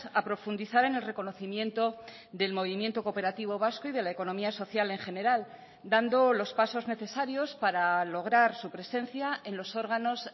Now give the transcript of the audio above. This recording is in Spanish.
a profundizar en el reconocimiento del movimiento cooperativo vasco y de la economía social en general dando los pasos necesarios para lograr su presencia en los órganos